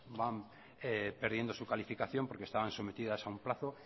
van perdiendo su calificación porque estaban sometidas a un plazo